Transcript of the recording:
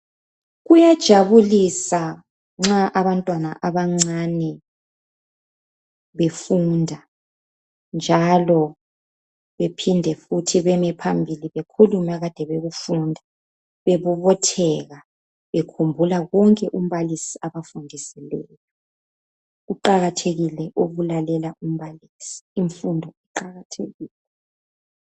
Kuyajabulisa nxa abantwana abancane befunda njalo bephinde futhi beme phambili bekhulume ekade bekufunda, bebobotheka bekhumbula konke umbalisi abafundisileyo kuqakathekile ukulalela umbalisi infundo iqakathekile.